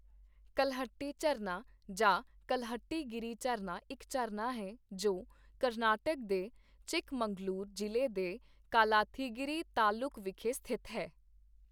ਕਲਹੱਟੀ ਝਰਨਾ ਜਾਂ ਕਲਹੱਟੀ-ਗਿਰੀ ਝਰਨਾ ਇੱਕ ਝਰਨਾ ਹੈ, ਜੋ ਕਰਨਾਟਕ ਦੇ ਚਿਕਮਗਲੂਰ ਜ਼ਿਲ੍ਹੇ ਦੇ ਕਾਲਾਥੀਗਿਰੀ ਤਾਲੁਕ ਵਿਖੇ ਸਥਿਤ ਹੈ।